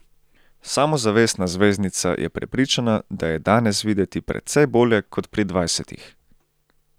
Samozavestna zvezdnica je prepričana, da je danes videti precej bolje kot pri dvajsetih.